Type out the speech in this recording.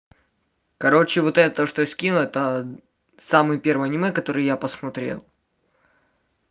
короче вот это что я скинул это самое первое аниме которые я посмотрел